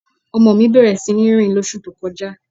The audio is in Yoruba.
Ọmọ mi bẹ̀rẹ̀ sí rìn lọ́sú tó kọ́ja.